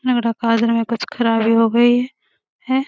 हमरा काज रहे कुछ खराब हो गई हैं ।